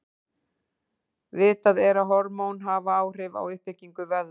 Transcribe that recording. Vitað er að hormón hafa áhrif á uppbyggingu vöðva.